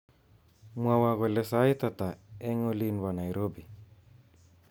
Mwowo kole sait ata eng olin bo Nairobi